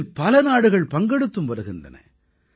இதில் பல நாடுகள் பங்கெடுத்தும் வருகின்றன